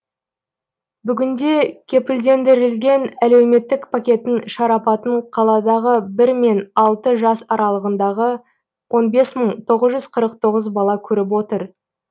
бүгінде кепілдендірілген әлеуметтік пакеттің шарапатын қаладағы бір мен алты жас аралығындағы он бес мың тоғыз жүз қырық тоғыз бала көріп отыр